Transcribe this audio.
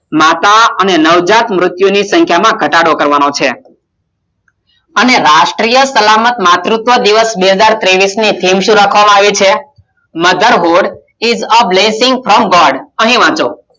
માતા અને નવજાત ની મુત્યુ ની સખીયા ઘટાડો કરવાનો છે અને રાષ્ટિય સલામતી માતુત્વ દિવસ બે હજાર તેવીશ ની Theme સુ રાખવામાં આવી છે Motherhood is a Blessing From World